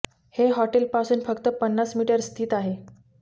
हे हॉटेल पासून फक्त पन्नास मीटर स्थित आहे